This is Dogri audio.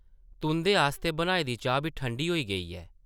तुंʼदे आस्तै बनाई दी चाह् बी ठंडी होई गेई ऐ ।